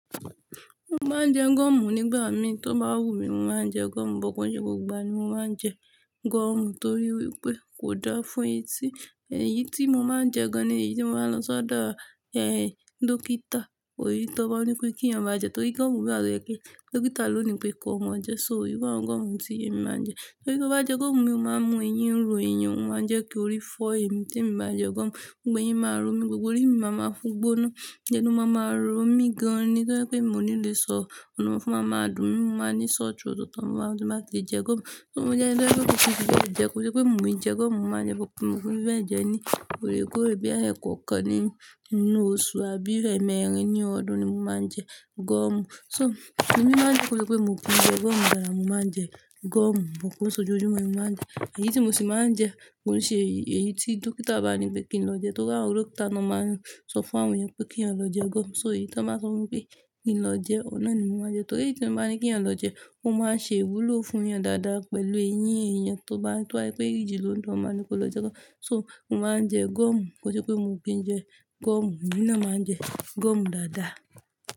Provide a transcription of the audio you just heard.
Mo máa ń jẹ gọ̀ọ̀mù nígbà mi tó bá wùmí, mo máa ń jẹ gọ̀ọ̀mù, but kò n ṣe gbogbo ìgbà ní mo máa ń jẹ gọ̀ọ̀mù torí wípé kò dáa fún etí. Èyí tí mo máa ń jẹ gan-an ni èyí tí mo máa ń lọ ṣọ́dọ̀, ẹ, dókítà. Òyi tó bá ní pé kí ìyàn bá jẹ torí gọ̀ọ̀mù wa tó jẹpẹ́. Dókítà ló ní pé kò mọ̀ọ́ jẹ, so eru àwọn gọ̀ọ̀mù tí èmi máa ń jẹ. Torí tí ó bá jẹ gọ̀ọ̀mù mi òun máa ń mú eyín ń ro èèyàn, ó máa ń jẹ́ kí orí fọ́ èmi tí èmi bá jẹ gọ̀ọ̀mù. Gbogbo eyín máa ń ro mí, gbogbo orí mi máa ma gbóná. Ẹnu máa máa rọ mí gan-an ni tó yẹ pé mi ò ní lè sọ̀rọ̀ ọlọ́run máa máa dùn mí. Mo máa ní sore throat ọ̀tọ̀ọ̀tọ̀, mo máa sì máa fi jẹ gọ̀ọ̀mù. Tí mo jẹ ńi tó jẹ́ pé kin, kò sí tó jẹ́ kó ṣe pé mò ń jẹ gọ̀ọ̀mù, màá jẹ bọ̀kúnjẹ́, mò ń fẹ́ jẹ ni, ọ̀rẹ́ kore bíi ẹẹ́kàn kan nínú oṣù àbí ẹẹ̀mẹrin ní ọdún ni mo máa ń jẹ gọ̀ọ̀mù. So, èmi máa ń jẹ́ kó ṣe pé mò ń jẹ gọ̀ọ̀mù dáadáa, mo máa ń jẹ gọ̀ọ̀mù, but kon sẹ́ sójojumo ni mo máa ń jẹ. Èyí tí mo sì máa ń jẹ kò ní ṣe èyí tí dókítà bá ní pé kí n lọ jẹ torí àwọn dókítà ló máa ń sọ fún àwọn èèyàn pé kí wọ́n lọ jẹ gọ̀ọ̀mù. So, èyí tí wọ́n máa ń sọ wípé kí n lọ jẹ, ọ̀nà ni mo máa ń jẹ torí èyí tí wọ́n máa ń ní kí ènìyàn lọ jẹ, ó máa ń ṣe ìwúlò fún èèyàn dáadáa pẹ̀lú eyín èèyàn tó bá, tó bá pé ìjì ló ń dùn eh, wa ní kó lọ jẹ gọ̀ọ̀mù. So, mo máa ń jẹ gọ̀ọ̀mù, kò ṣe pé mò ń kì jẹ gọ̀ọ̀mù nínà, màá jẹ gọ̀ọ̀mù dáadáa.